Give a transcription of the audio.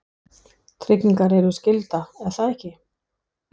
tryggingar eru skylda, er það ekki?